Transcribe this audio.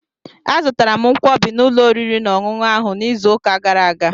Azụtara m Nkwobi n'ụlọ oriri na ọṅụṅụ ahụ n'izu ụka gara aga.